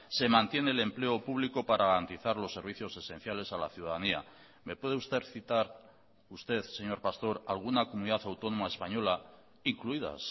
se mantiene el empleo público para garantizar los servicios esenciales a la ciudadanía me puede usted citar usted señor pastor alguna comunidad autónoma española incluidas